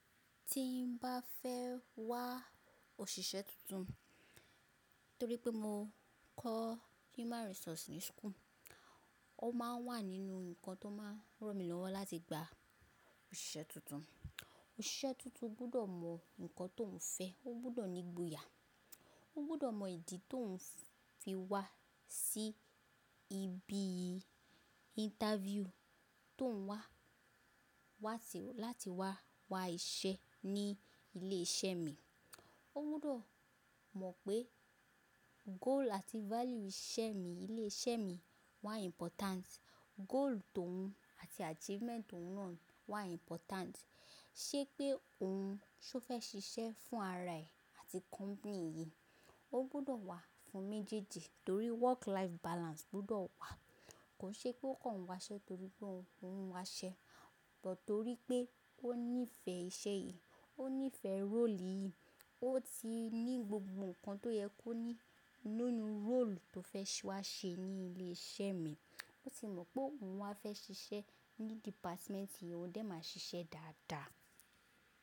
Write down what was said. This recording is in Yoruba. Tí n bá fẹ́ wá òṣìṣẹ́ tuntun, torí pé mo kọ́ Human Resource ní school, ó máa ń wà nínú nǹkan tó máa ń ràn mí lọ́wọ́ láti gba òṣìṣẹ́ tuntun. Òṣìṣẹ́ tuntun gbọ́dọ̀ mọ nǹkan tó ń fẹ́, ó gbọ́dọ̀ ní ìgboyà, ó gbọ́dọ̀ mọ ìdí tó ń fi wá sí ibi interview tó ń wá, wá ti, láti wá wá iṣẹ́ ní ilé iṣẹ́ mi. Ó gbọ́dọ̀ mọ̀ pé goal àti value iṣẹ́ mi, ilé iṣẹ́ mi wà important. Goal tó ń, àti achievement òun naa wà important. Ṣé pé òun ṣó fẹ́ ṣiṣẹ́ fún ara ẹ̀ àti company yìí. Ó gbọ́dọ̀ wá fún méjèèjì torí work life balance gbọ́dọ̀ wà. Kò ṣe pé ó kàn wáṣẹ́ torí pé òun ń wáṣẹ́, but torí pé ó nífẹ̀ẹ́ iṣẹ́ yìí, ó nífẹ̀ẹ́ role yìí, ó ti ní gbogbo nǹkan tó yẹ kó ní nínú role tó fẹ́ wá ṣe ní ilé iṣẹ́ mi. Ó ti mọ̀ pé òun wá fẹ́ ṣiṣẹ́ ní department yìí, ó dẹ́ máa ṣiṣẹ́ dáadáa.